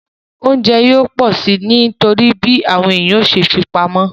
Oúnjẹ yóò pọ̀ si nítorí bí àwọn ènìyàn yóò ṣe fipamọ́